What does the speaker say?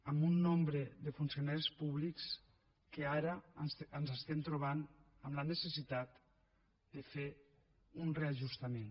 amb un nombre de funcionaris públics que ara ens estem trobant amb la necessitat de fer un reajustament